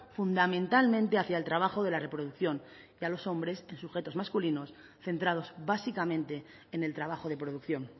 fundamentalmente hacia el trabajo de la reproducción y a los hombres en sujetos masculinos centrados básicamente en el trabajo de producción